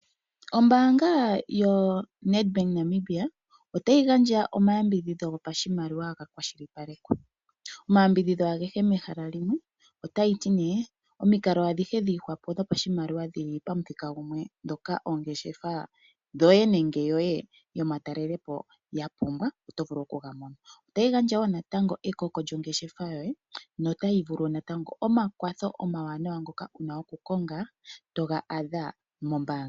Oombanga yoNEDBANK Namibia ota yi gandja omayambidhidho go pashimaliwa ga kwashilipalekwa. Omayambidhidho agehe mehala limwe ota yi ti ne omikalo adhihe dhiihwa po shiimaliwa dhi li pamuthika gumwe dhoka oongeshefa dhoye nenge yoye yomatalele po ya pumbwa oto vulu oku ga mona. Ota yi gandja wo natango ekoko lyongeshefa yoye nota yi vulu natango omakwatho omawanawa ngoka wu na okukonga to ga adha mombanga.